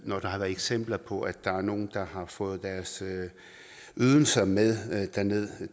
når der har været eksempler på at der er nogle der har fået deres ydelser med derned